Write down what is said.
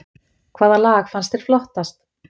Hvaða lag fannst þér flottast